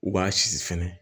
U b'a susu fɛnɛ